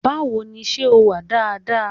Báwo ni, ṣẹ́ o wà dáadáa?